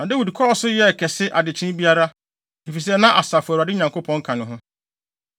Na Dawid kɔɔ so yɛɛ kɛse adekyee biara, efisɛ na Asafo Awurade Nyankopɔn ka ne ho.